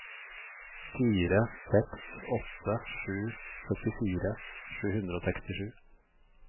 fire seks åtte sju syttifire sju hundre og sekstisju